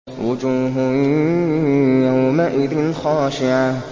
وُجُوهٌ يَوْمَئِذٍ خَاشِعَةٌ